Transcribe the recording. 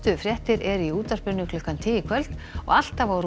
fréttir eru í útvarpinu klukkan tíu í kvöld og alltaf á